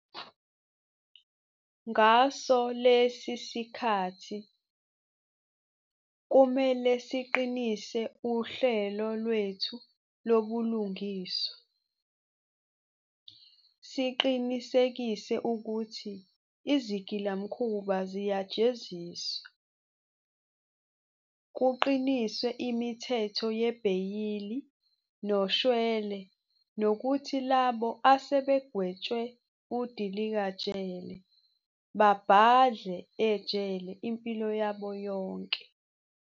Ngaso lesi sikhathi, kumele siqinise uhlelo lwethu lobulungiswa, siqinisekise ukuthi izigilamkhuba ziyajeziswa, kuqiniswe imithetho yebheyili noshwele nokuthi labo asebegwetshwe udilikajele babhadla ejele impilo yabo yonke.